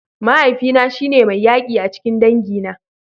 Mahaifina shi ne mai yaki a cikin dangina.